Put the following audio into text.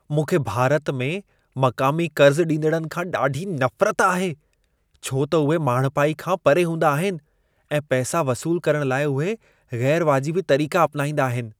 मूंखे भारत में मक़ामी कर्ज़ु ॾींदड़नि खां ॾाढी नफ़रत आहे, छो त उहे माण्हिपाई खां परे हूंदा आहिनि ऐं पैसा वसूल करण लाइ उहे ग़ैर-वाजिबी तरीक़ा अपिनाईंदा आहिनि।